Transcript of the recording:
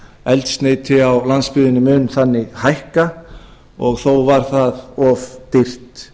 eldsneyti a landsbyggðinni mun þannig hækka og þó var það of dýrt